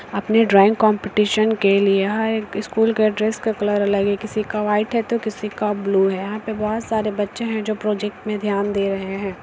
अपने drawing competition के लिए यह एक स्कूल का ड्रेस का कलर अलग है किसी का व्हाइट है तो किसी का ब्लू है यहाँ पे बहुत सारे बच्चे हैं जो प्रोजेक्ट में ध्यान दे रहे हैं।